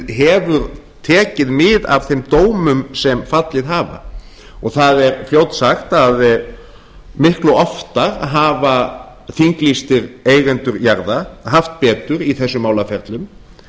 hefur tekið mið af þeim dómum sem fallið hafa og það er fljótsagt að miklu oftar hafa þinglýstir eigendur jarða haft betur í þessum málaferlum